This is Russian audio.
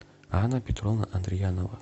анна петровна андриянова